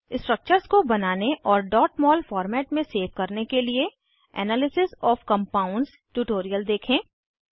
structures को बनाने और mol फॉर्मेट में सेव करने के लिए एनालिसिस ओएफ कम्पाउंड्स ट्यूटोरियल देखें